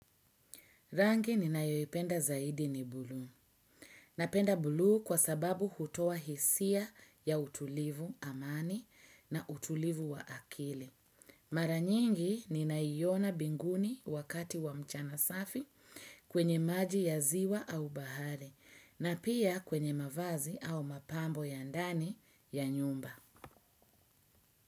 Rangi ninayoipenda zaidi ni bluu. Napenda bluu kwa sababu hutoa hisia ya utulivu amani na utulivu wa akili. Maranyingi ninaaiona mbinguni wakati wa mchana safi kwenye maji ya ziwa au bahari na pia kwenye mavazi au mapambo ya ndani ya nyumba.